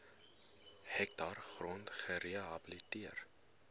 hektaar grond gerehabiliteer